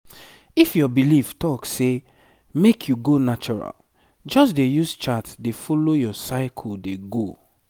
if your belief talk say make you go natural just dey use chart dey follow your cycle dey go